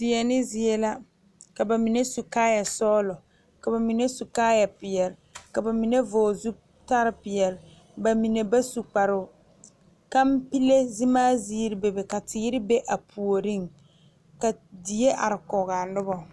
Deɛne zie la ka bamine su kaaya sɔglɔ ka bamine su kaaya peɛle ka bamine vɔgle zutal peɛle bamine ba su kparo kanpile zemaa ziiri bebe ka teere be a puori ka die are kɔge a noba.